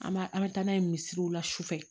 An b'a an bɛ taa n'a ye misiriw la su fɛ